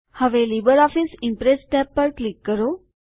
હવે LibreOffice Impress tab પર click કરો